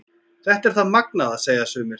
Þetta er það magnaða, segja sumir.